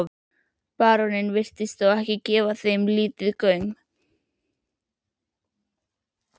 Baróninn virtist þó gefa þeim lítinn gaum.